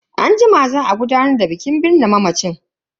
Anjima za a gudanar da bikin binne mamacin.